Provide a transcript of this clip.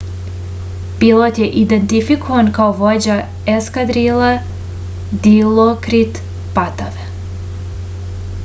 pilot je identifikovan kao vođa eskadrile dilokrit patave